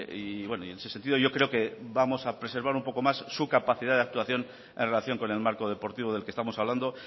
y en ese sentido yo creo que vamos a preservar un poco más su capacidad de actuación en relación con el marco deportivo del que estamos hablando